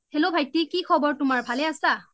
hello ভাইটি কি খবৰ তোমাৰ ভালে আছা